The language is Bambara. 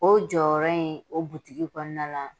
O jɔyɔrɔ in o butigi kɔnɔna la